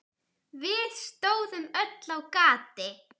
Við stóðum öll á gati.